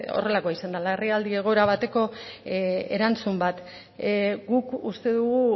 horrelako izan dela larrialdi egoera bateko erantzun bat guk uste dugu